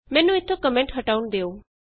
ਮੈਨੂੰ ਇਥੋਂ ਕੋਮੈਂਟ ਹਟਾਉਣ ਦਿਉ